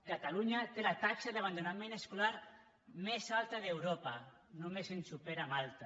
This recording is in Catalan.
catalunya té la taxa d’abandonament escolar més alta d’europa només ens supera malta